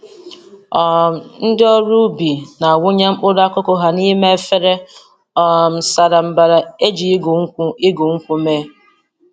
um Ndị ọrụ ubi na-awụnye mkpụrụ akụkụ ha n'ime efere um sara mbara e ji igu nkwụ igu nkwụ mee.